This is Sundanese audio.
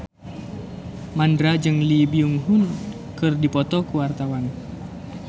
Mandra jeung Lee Byung Hun keur dipoto ku wartawan